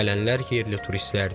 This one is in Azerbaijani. Gələnlər yerli turistlərdir.